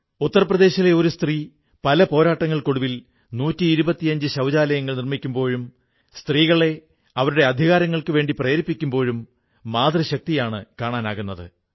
ഉത്തർ പ്രദേശിലെ ഒരു സ്ത്രീ പല പോരാട്ടങ്ങൾക്കൊടുവിൽ 125 ശൌചാലയങ്ങൾ നിർമ്മിക്കുമ്പോഴും സ്ത്രീകളെ അവരുടെ അധികാരങ്ങൾക്കുവേണ്ടി പ്രേരിപ്പിക്കുമ്പോഴും മാതൃശക്തിയാണു കാണാനാകുന്നത്